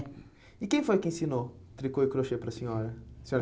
E quem foi que ensinou tricô e crochê para a senhora? A senhora